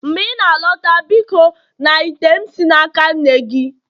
mgbe ị na-alọta biko na ite m si n'aka nne gị